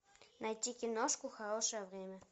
найти киношку хорошее время